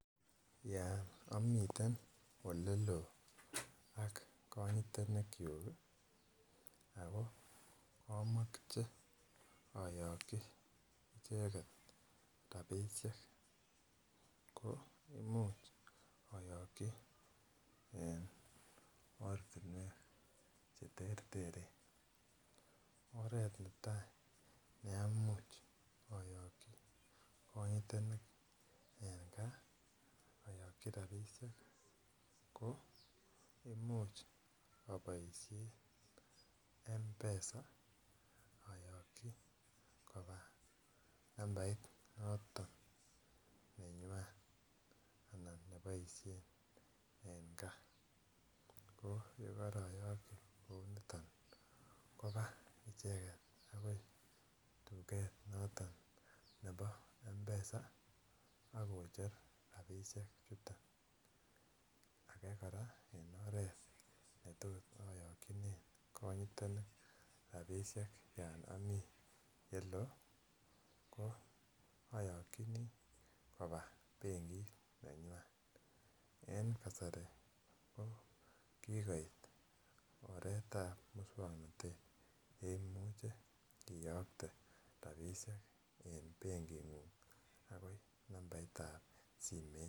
Yon omiten oleloo ak konyotenik kyuk Ako komoche oyoki icheket rabishek ko imuch oyoki en ortinwek cheterter, oret netai neamuch oyoki konyotenik en gaa oyoki rabishek ko imuch iboishen M-PESA oyoki koba nambait noton nenywan anan neboishen en gaa, ko yekoroyoki kou niton koba icheket akoi tuket noton nebo M-PESA ak kocher rabishek chuton. Ake koraa en oret netot oyokine konyotenik rabishek yon omii yeloo ko oyokinii koba benkit nenywan en kasari ko kikoit oretab muswoknotet neimuche iyokte rabishek en benkingung akoi nambaitab simoit.